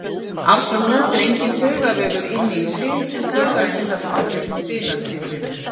Aftur á móti er enginn taugavefur inni í sin en taugaendar tengjast sinaslíðrinu.